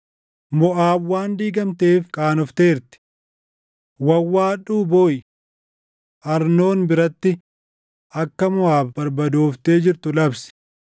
Moʼaab waan diigamteef qaanofteerti. Wawwaadhuu booʼi! Arnoon biratti akka Moʼaab barbadooftee jirtu labsi.